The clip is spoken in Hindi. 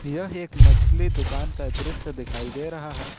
यह एक मछली दुकान का दृश्य दिखाई दे रहा है।